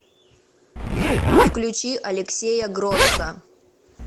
включи алексея гросса